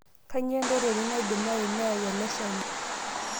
Kainyoo entoroni naidimayu neyau ele shani?